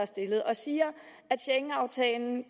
stillet siger at schengenaftalen